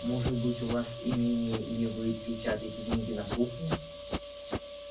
может быть у вас имение или вы печатаете деньги на кухне